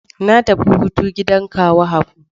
Na tafi hutu gidan kawu Habu.